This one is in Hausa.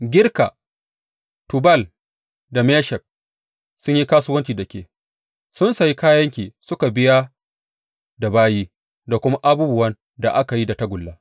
Girka, Tubal da Meshek sun yi kasuwanci da ke; sun sayi kayanki suka biya da bayi da kuma abubuwan da aka yi da tagulla.